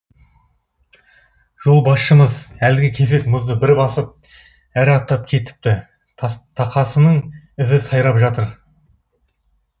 жолбасшымыз әлгі кесек мұзды бір басып ары аттап кетіпті тақасының ізі сайрап жатыр